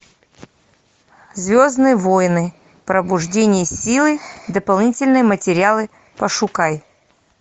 звездные войны пробуждение силы дополнительные материалы пошукай